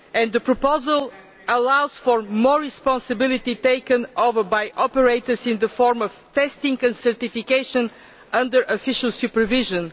The proposal allows for more responsibility to be taken by operators in the form of testing and certification under official supervision.